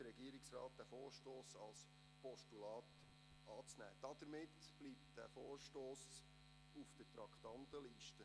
Deshalb beantragt der Regierungsrat, diesen Vorstoss als Postulat anzunehmen – so bliebe er weiterhin auf der Traktandenliste.